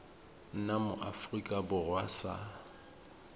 nna mo aforika borwa sa